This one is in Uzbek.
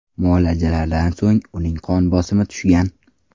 Muolajalardan so‘ng uning qon bosimi tushgan.